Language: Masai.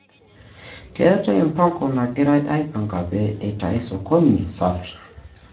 Keetai mpango nagirai aipanga pee eitai sokoni safi.